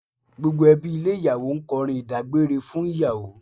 Gbogbo ẹbí ilé ìyàwó ń kọrin ìdágbére fún ìyàwó